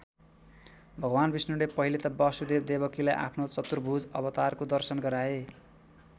भगवान विष्णुले पहिले त वसुदेव देवकीलाई आफ्नो चतुर्भुज अवतारको दर्शन गराए।